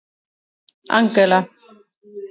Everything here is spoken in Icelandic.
Angela